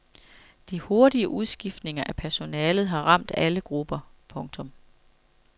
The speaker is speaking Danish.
De hurtige udskiftninger af personalet har ramt alle grupper. punktum